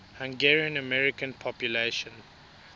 hungarian american population